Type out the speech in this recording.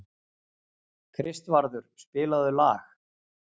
Kristvarður, spilaðu lag.